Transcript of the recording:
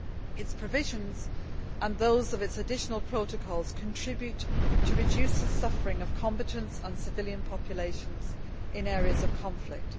Its provisions, and those of its additional protocols, contribute to reducing the suffering of combatants and civilian populations in areas of conflict.